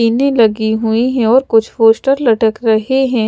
पिन्नी लगी हुई है और कुछ पोस्टर लटक रहे है।